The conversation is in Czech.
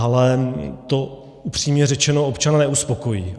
Ale to upřímně řečeno občana neuspokojí.